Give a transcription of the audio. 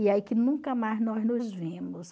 E aí que nunca mais nós nos vimos.